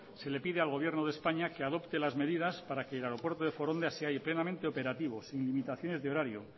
se le pide al gobierno de españa que adopte las medidas para que el aeropuerto de foronda se halle plenamente operativo sin limitaciones de horario